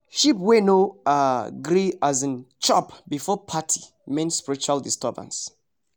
sheep wey no um gree um chop before party mean spiritual disturbance